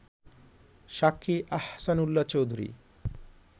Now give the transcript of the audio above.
সাক্ষী আহসান উল্লাহচৌধুরী